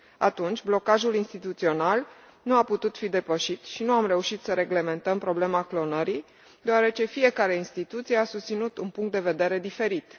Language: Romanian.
Atunci, blocajul instituțional nu a putut fi depășit și nu am reușit să reglementăm problema clonării, deoarece fiecare instituție a susținut un punct de vedere diferit.